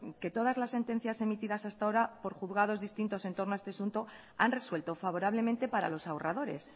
que todas las sentencias emitidas hasta ahora por juzgados distintos en torno a este asunto han resuelto favorablemente para los ahorradores